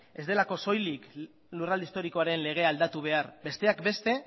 ez delako soilik lurralde historikoaren legea aldatu behar besteak beste